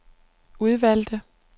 udvalgte